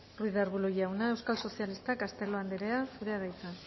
ruiz de arbulo jauna euskal sozialistak castelo andrea zurea da hitza